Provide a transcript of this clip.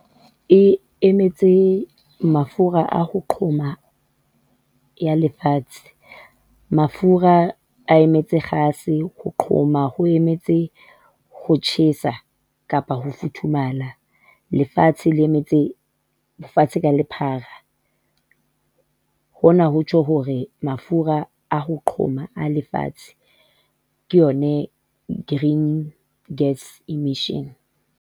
E emetse mafura a ho qhoma ya lefatshe, mafura a emetse kgase, ho qhoma ho emetse ho tjhesa kapa ho futhumala lefatshe le emetse lefatshe ka lephara. Hona ho tjho hore mafura a ho qhoma a lefatshe ke yone green gas emissions.